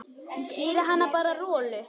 Ég skíri hann bara Rolu.